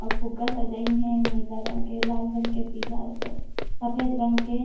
अउ फुग्गा सजाइन हे नीला रंग के लाल रंग के पीला सफेद रंग के--